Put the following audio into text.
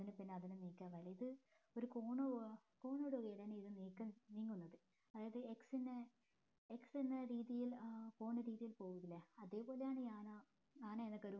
അതിന് പിന്നെ നിക്കാൻ കയ്യില്ല ഇത് ഒരു cone പോവാ corn പോലെയാണ് ഇത് നീക്കം നീങ്ങുന്നത് അതായത് x എന്ന x എന്ന രീതിയിൽ ആഹ് പോണ രീതിയിൽ പോവൂലെ അതേപോലെയാണ് ഈ ആന എന്ന കരു